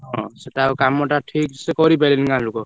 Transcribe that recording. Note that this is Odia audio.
ହଁ ସେଟା ଆଉ କାମ ଟା ଠିକସେ କରିପାରିଲେନି ଗାଁ ଲୋକ।